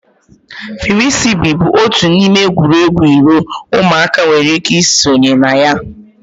Firisibi bụ otu n'ime egwuregwu iro ụmụaka nwere ike ị sonye na ya.